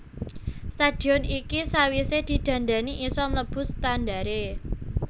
Stadion iki sawise didandani isa mlebu standare